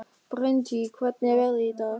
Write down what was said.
Bryntýr, hvernig er veðrið í dag?